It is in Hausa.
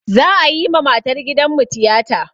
Za'a yi ma matar gidanmu tiyata.